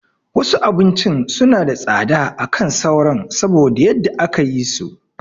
Wasu abincin suna da tsada akan sauran saboda yadda aka yi so